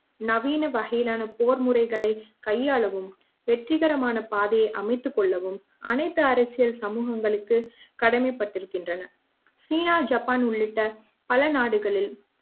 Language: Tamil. நவீன வகையிலான போர் முறைகளை கையாளவும் வெற்றிகரமான பாதையை அமைத்துக் கொள்ளவும் அனைத்து அரசியல் சமூகங்களுக்கு கடமைப்பட்டிருக்கின்றன சீனா ஜப்பான் உள்ளிட்ட பல நாடுகளில்